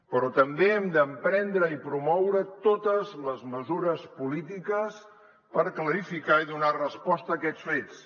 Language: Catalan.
però també hem d’emprendre i promoure totes les mesures polítiques per clarificar i donar resposta a aquests fets